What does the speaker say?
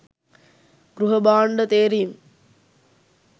ගෘහභාණ්ඩ තේරීම්